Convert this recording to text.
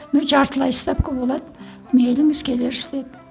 ну жартылай ставка болады мейліңіз келерсіз деді